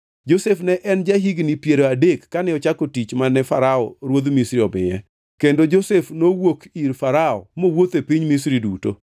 Josef ne en ja-higni piero adek kane ochako tich mane Farao ruodh Misri omiye. Kendo Josef nowuok ir Farao mowuotho e piny Misri duto.